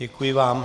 Děkuji vám.